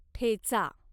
ठेचा